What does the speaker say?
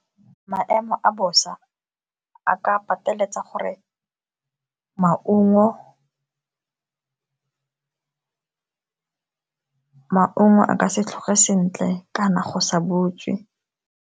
Maemo a bosa a ka pateletsa gore maungo a ka se tlhoge sentle kana go sa butswe.